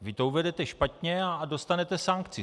Vy to uvedete špatně a dostanete sankci.